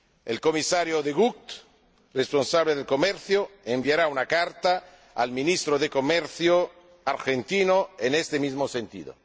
El Comisario De Gucht, responsable de Comercio, enviará una carta al Ministro de Comercio argentino en este mismo sentido.